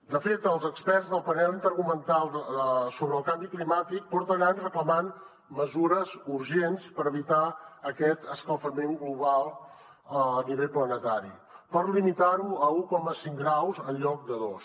de fet els experts del panel intergovernamental sobre el canvi climàtic porten anys reclamant mesures urgents per evitar aquest escalfament global a nivell planetari per limitar ho a un coma cinc graus en lloc de dos